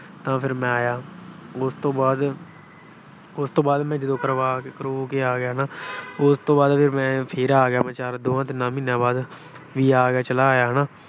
ਤਾਂ ਫਿਰ ਮੈਂ ਆਇਆ। ਉਸ ਤੋਂ ਬਾਅਦ ਅਹ ਉਸ ਤੋਂ ਬਾਅਦ ਮੈਂ ਕਰਵਾ ਕਰਵੂ ਕੇ ਆ ਗਿਆ ਨਾ। ਉਸ ਤੋਂ ਬਾਅਦ ਮੈਂ ਫਿਰ ਆ ਗਿਆ ਦੋ-ਤਿੰਨ ਮਹੀਨਿਆਂ ਬਾਅਦ। ਵੀ ਆ ਗਿਆ, ਚਲਾ ਆਇਆ ਹਨਾ।